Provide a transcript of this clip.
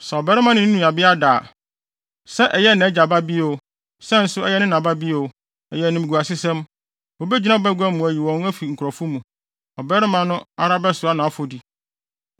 “ ‘Sɛ ɔbarima ne ne nuabea da a, sɛ ɛyɛ nʼagya babea o, sɛ nso ɛyɛ ne na babea o, ɛyɛ animguasesɛm, wobegyina bagua mu ayi wɔn afi wɔn nkurɔfo mu. Ɔbarima no ara bɛsoa nʼafɔdi.